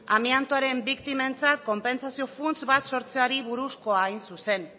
amiantoaren biktimentzako konpentsazio funts bat sortzeari buruzkoa hain zuzen